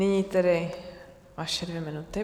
Nyní tedy vaše dvě minuty.